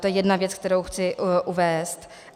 To je jedna věc, kterou chci uvést.